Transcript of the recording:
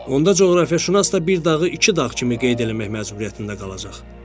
Onda coğrafiyaşünas da bir dağı iki dağ kimi qeyd eləmək məcburiyyətində qalacaq.